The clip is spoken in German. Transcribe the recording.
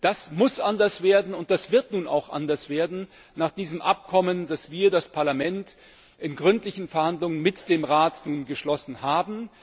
Das muss anders werden und das wird nun auch anders werden nach diesem Abkommen, das wir, das Parlament, in gründlichen Verhandlungen mit dem Rat geschlossen haben.